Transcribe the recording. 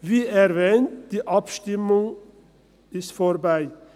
– Wie erwähnt: Die Abstimmung ist vorbei.